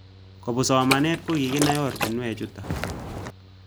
Kopun somanet ko kikinai oratinwek chutok